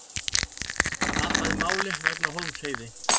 Tapaði máli vegna Hólmsheiði